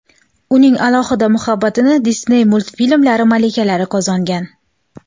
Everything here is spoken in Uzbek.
Uning alohida muhabbatini Disney multfilmlari malikalari qozongan.